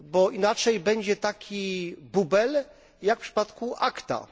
Inaczej wyjdzie taki bubel jak w przypadku ACTA.